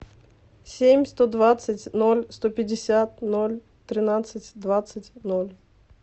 семь сто двадцать ноль сто пятьдесят ноль тринадцать двадцать ноль